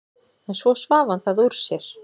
En svo svaf hann það úr sér.